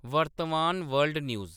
वर्तमान world news